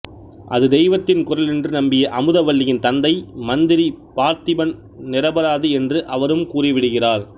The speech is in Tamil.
அது தெய்வத்தின் குரல் என்று நம்பிய அமுதவல்லியின் தந்தை மந்திரி பார்த்திபன் நிரபராதி என்று அவரும் கூறிவிடுகிறார்